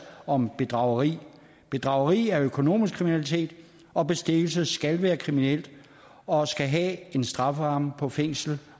om bedrageri bedrageri er økonomisk kriminalitet og bestikkelse skal være kriminelt og have en strafferamme på fængsel